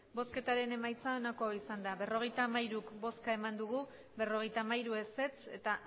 emandako botoak berrogeita hamairu ez berrogeita hamairu